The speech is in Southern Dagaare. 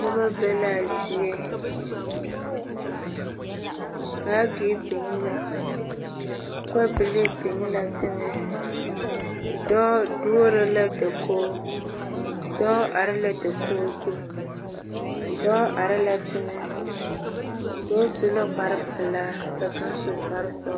Noba be laa zie naage biŋ la kɔbilii biŋ la teŋa dɔɔ duori la dakoo dɔɔ are la dakoo zu dɔɔ are la teŋa dɔɔ su la kpar pelaa ka kaŋa su kpar sɔgelaa